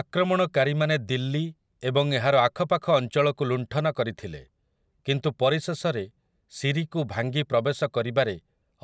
ଆକ୍ରମଣକାରୀମାନେ ଦିଲ୍ଲୀ ଏବଂ ଏହାର ଆଖପାଖ ଅଞ୍ଚଳକୁ ଲୁଣ୍ଠନ କରିଥିଲେ, କିନ୍ତୁ ପରିଶେଷରେ ସିରିକୁ ଭାଙ୍ଗି ପ୍ରବେଶ କରିବାରେ